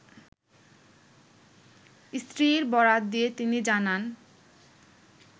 স্ত্রীর বরাত দিয়ে তিনি জানান